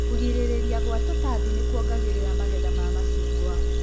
Kũrigĩrĩria gwa tũtambi nĩkuongagĩrĩra magetha ma macungwa.